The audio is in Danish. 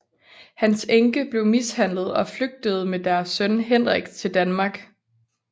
Hans enke blev mishandlet og flygtede med deres søn Henrik til Danmark